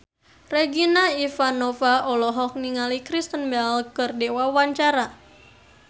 Regina Ivanova olohok ningali Kristen Bell keur diwawancara